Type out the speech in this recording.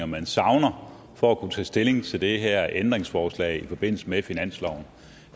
man savner for at kunne tage stilling til det her ændringsforslag i forbindelse med finansloven